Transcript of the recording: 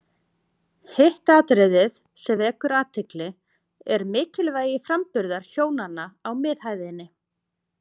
Hitt atriðið sem vekur athygli, er mikilvægi framburðar hjónanna á miðhæðinni.